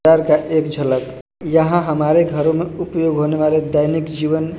घर का एक झलक यहां हमारे घरों में उपयोग होने वाले दैनिक जीवन--